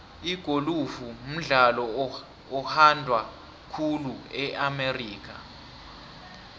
igolufu mdlalo oyhandwa khulu e amerika